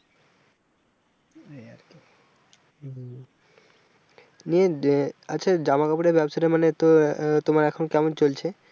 নিয়ে আহ আচ্ছা জামা কাপড়ের ব্যবসাটা মানে তোমার এখন কেমন চলছে?